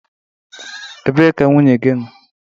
Ebee ka nwunye gị nọọ?